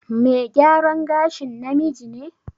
Me gyaran gashin namiji ne?